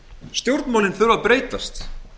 stjórnmálin þurfa að breytast